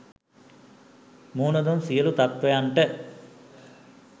මුහුන දුන් සියළු තත්වයන්ට